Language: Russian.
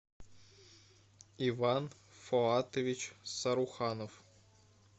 иван фоатович саруханов